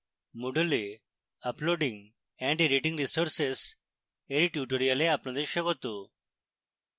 moodle এ uploading and editing resources এর tutorial আপনাদের স্বাগত